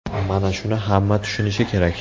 Mana shuni hamma tushunishi kerak.